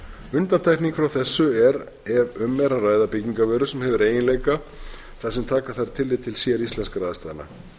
undantekning frá þessu er ef um er að ræða byggingarvöru sem hefur eiginleika þar sem taka þarf tillit til séríslenskra aðstæðna